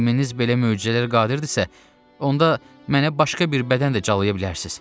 Elminiz belə möcüzələrə qadirdisə, onda mənə başqa bir bədən də calaya bilərsiz.